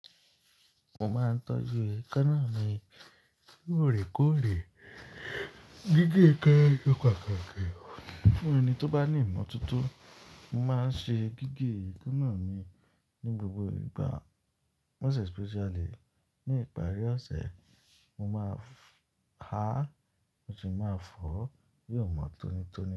Mo máa ń tọ́jú èékánná mi lòrèkóòrè, gígé eekanna se pataki. Fún ẹni tó bá ní ìmọ̀toto, mo máa ń ṣe gígé èékánná mi ní gbogbo ìgbà, mo especially ní ìparí ọ̀sẹ̀. Mo máa ha, mo sì máa fọ̀ bí ò mọ́ tónítóní.